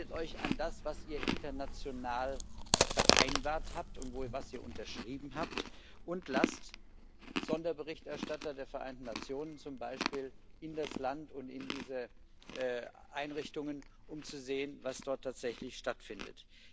Haltet euch an das, was ihr international vereinbart habt und was ihr unterschrieben habt, und lasst Sonderberichterstatter der Vereinten Nationen zum Beispiel in das Land und in diese Einrichtungen, um zu sehen, was dort tatsächlich stattfindet.